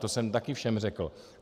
To jsem taky všem řekl.